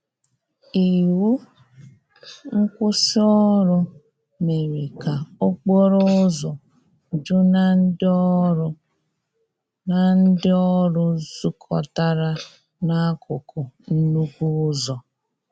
Iwụ nkwụsì ọrụ mere ka okporo ụzọ ju na ndi ọrụ na ndi ọrụ zukotara na akụkụ nnukwu ụzọ.